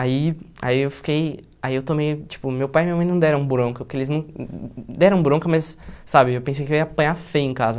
Aí aí eu fiquei, aí eu tomei, tipo, meu pai e minha mãe não deram bronca, porque eles não, deram bronca, mas, sabe, eu pensei que eu ia apanhar feio em casa.